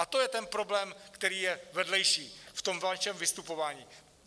A to je ten problém, který je vedlejší v tom vašem vystupování.